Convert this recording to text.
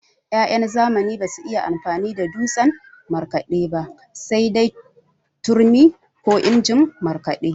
Ya'yan zamani basu iya amfani da dutsen markaɗe ba sai dai turmi ko injin markaɗe.